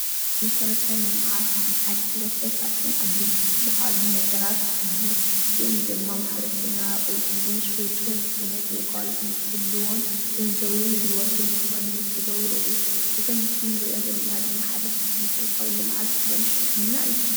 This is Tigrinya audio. መሰረተ ልምዓት ንሓደ ሕብረተሰብ ካብቶም ኣድላይቲ ዝባሃሉ ነገራት ኮይኑ እዚኦም ድማ ማሕበረሰብና ቅልጡፍን ስሉጥን ዝኮነ ግልጋሎት ንክህልዎን ገንዘቡን ግልቦቱን ንክቅንስ ዝገብሩ እዮም፡፡ እዚ ኣብዚ ምስሊ እንሮኦ ዘለና ድማ ሓደ ካብቶም መሰረታዊ ልምዓት ዝኮነ ሕክምና እዩ፡፡